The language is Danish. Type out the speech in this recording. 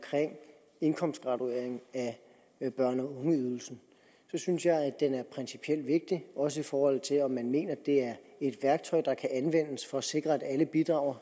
indkomstgraduering af børne og ungeydelsen synes jeg det er er principielt vigtig også i forhold til om man mener det er et værktøj der kan anvendes for at sikre at alle bidrager og